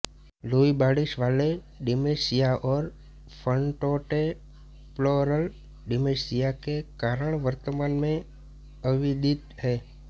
Louis bodies वाले dementia और frontotemporal dementia के कारण वर्तमान में अविदित हैं